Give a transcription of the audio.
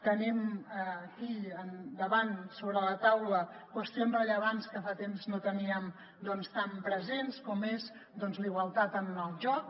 tenim aquí davant sobre la taula qüestions rellevants que fa temps no teníem tan presents com és doncs la igualtat en el joc